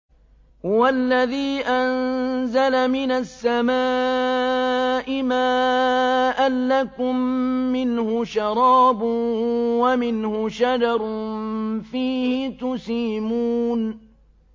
هُوَ الَّذِي أَنزَلَ مِنَ السَّمَاءِ مَاءً ۖ لَّكُم مِّنْهُ شَرَابٌ وَمِنْهُ شَجَرٌ فِيهِ تُسِيمُونَ